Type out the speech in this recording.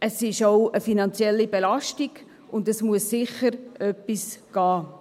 Es ist auch eine finanzielle Belastung, und es muss sicher etwas getan werden.